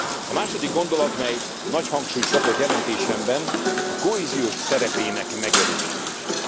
A második gondolat, mely nagy hangsúlyt kapott jelentésemben, a kohéziós politika eredeti szerepének megerősítése.